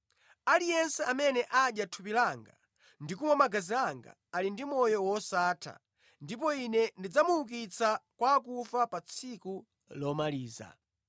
Aliyense amene adya thupi langa ndi kumwa magazi anga ali ndi moyo wosatha ndipo Ine ndidzamuukitsa kwa akufa pa tsiku lomaliza.